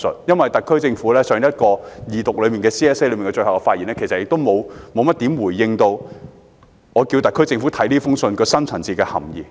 因為特區政府在全體委員會審議階段動議修正案時的總結發言，其實沒有怎樣回應我的要求，看看這封信的深層次含意。